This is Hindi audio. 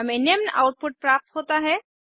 हमें निम्न आउटपुट प्राप्त होता है